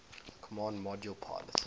command module pilot